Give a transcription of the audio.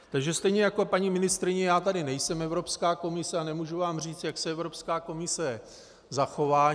Takže stejně jako paní ministryně, já tady nejsem Evropská komise a nemůžu vám říct, jak se Evropská komise zachová.